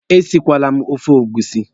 Esikweele m ofe egusi!